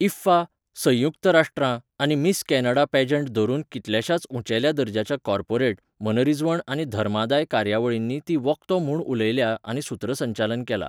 IIFA, संयुक्त राष्ट्रां आनी मिस कॅनडा पॅजंट धरून कितल्याशाच उंचेल्या दर्ज्याच्या कॉर्पोरेट, मनरिजवण आनी धर्मादाय कार्यावळींनी ती वक्तो म्हूण उलयल्या आनी सुत्रसंचालन केलां.